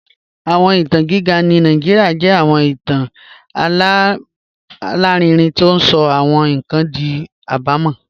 Awọn itan giga ni Nigeria jẹ awọn itan alarinrin ti o sọ awọn nkan di abumọ